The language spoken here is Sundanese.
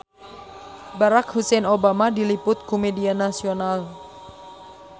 Barack Hussein Obama diliput ku media nasional